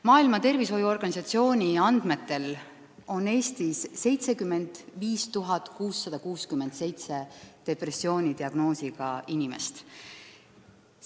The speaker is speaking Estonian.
Maailma Terviseorganisatsiooni andmetel on Eestis 75 667 depressiooni diagnoosiga inimest.